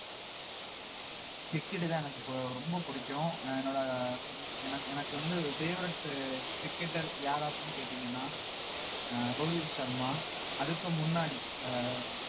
cricket தான் எனக்கு இப்போ ரொம்ப பிடிக்கும் என்னோட எனக்கு எனக்கு வந்து favourite உ cricketer யாரு அப்படின்னு கேட்டீங்கன்னா அஹ் ரோஹித் சர்மா அதுக்கும் முன்னாடி அஹ்